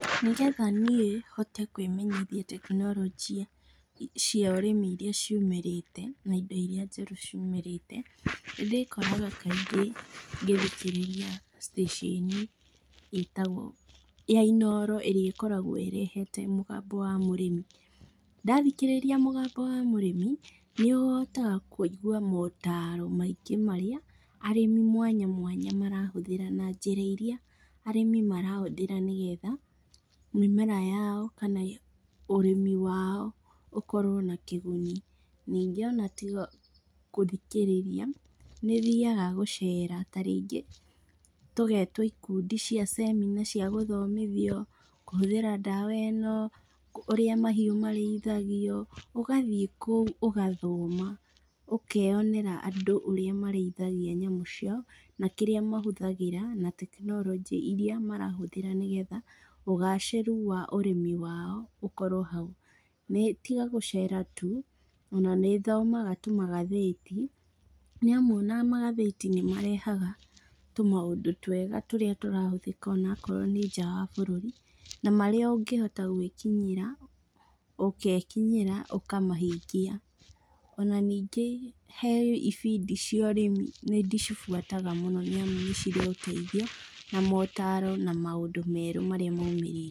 Nĩgetha niĩ hote kwĩmenyithia tekinorojĩ cia ũrĩmi iria ciũmĩrĩte, na indo iria njerũ ciumĩrĩte, nĩndĩkoraga kaingĩ ngĩthikĩrĩria stĩcĩni ĩtagwo ya inooro ĩrĩa ĩkoragwo ĩrehete mũgambo wa mũrĩmi. Ndathikĩrĩria mũgambo wa mũrĩmi, nĩũhotaga kuigua motaro maingĩ marĩa arĩmi mwanya mwanya marahũthĩra na njĩra iria arĩmi marahũthĩra nĩgetha, mĩmera yao, kana ũrĩmi wao ũkorwo na kĩguni ningĩ ona tiga gũthikĩrĩria, nĩthiaga gũcera tarĩngĩ tũgetwo ikundi cia cemina cia gũthomithio kũhũthĩra ndawa ĩno, ũrĩa mahiũ marĩithagio, ũgathiĩ kũu ũgathoma, ũkeyonera andũ ũrĩa marĩithagia nyamũ ciao, na kĩrĩa mahũthagĩra, na tekinorojĩ iria marahũthĩra nĩgetha ũgacĩru wa ũrĩmi wao ũkorwo hau. Nĩ tiga gũcera tu, ona nĩ thomaga tu magathĩti, nĩamu ona magathĩti nĩmarehaga tũmaũndũ twega tũrĩa tũra hũthĩka onakorwo nĩ nja wa bũrũri, na marĩa ũngĩhota gwĩkinyĩra, ũkekinyĩra, ũkamahingia. Ona ningĩ, he ibindi cia ũrĩmi, nĩndĩcibuataga mũno, nĩamu nĩcirĩ ũteithio na motaro na maũndũ merũ marĩa maumĩrĩte.